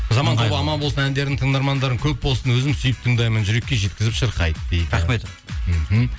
аман болсын әндерің тыңдармандарың көп болсын өзім сүйіп тыңдаймын жүрекке жеткізіп шырқайды дейді рахмет мхм